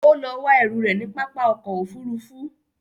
Ó lọ wá ẹrù rẹ̀ ní pápá ọkọ̀ Òfurufú